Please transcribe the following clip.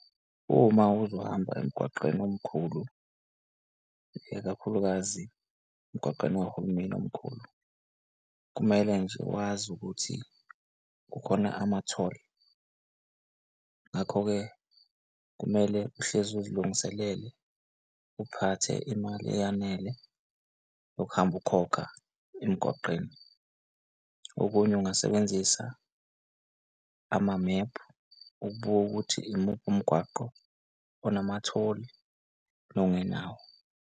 Uma uzohamba emgwaqeni omkhulu ikakhulukazi emgwaqeni, wahulumeni omkhulu. Kumele nje wazi ukuthi kukhona ama-toll, ngakho-ke kumele uhlezi uzilungiselele, uphathe imali eyanele yokuhamba ukukhokha emgwaqeni. Okunye ungasebenzisa amamephu ukubukwa ukuthi imuphi umgwaqo onama-toll, nongenawo.